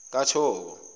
kathoko